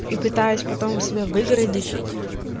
и пытаюсь потом себя выгородить